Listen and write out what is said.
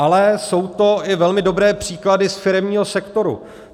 Ale jsou to i velmi dobré příkazy z firemního sektoru.